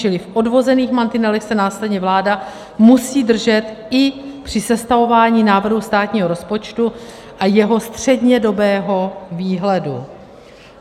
Čili v odvozených mantinelech se následně vláda musí držet i při sestavování návrhu státního rozpočtu a jeho střednědobého výhledu.